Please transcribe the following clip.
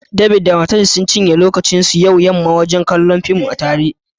David da matarshi sun cinye lokacin su yau da yamma wajen kallon fim tare